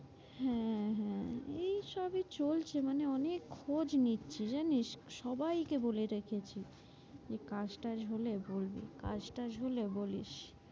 হ্যাঁ, হ্যাঁ এইসবে চলছে মানে অনেক খোঁজ নিচ্ছে জানিস সবাই কে বলে রেখেছি যে কাজ টাজ হলে বলবি, কাজ টাজ হলে বলিস,